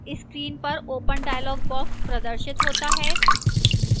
screen पर open dialog box प्रदर्शित होता है